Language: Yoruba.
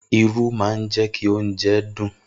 Irú má ń jẹ́kí oúnjẹ dùn